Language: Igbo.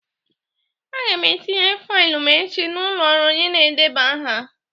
Aga m etinye faịlụ m echi n'ụlọ ọrụ onye na-edeba aha.